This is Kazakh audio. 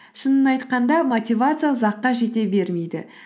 шынын айтқанда мотивация ұзаққа жете бермейді